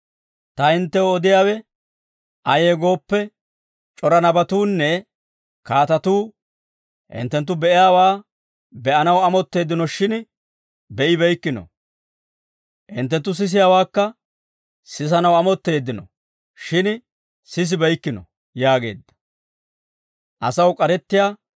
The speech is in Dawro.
Ta hinttew odiyaawe ayee gooppe, c'ora nabatuunne kaatatuu hinttenttu be'iyaawaa be'anaw amotteeddinoshshin be'ibeykkino; hinttenttu sisiyaawaakka sisanaw amotteeddino; shin sisibeykkino» yaageedda.